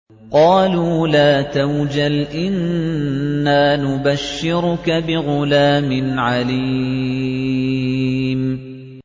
قَالُوا لَا تَوْجَلْ إِنَّا نُبَشِّرُكَ بِغُلَامٍ عَلِيمٍ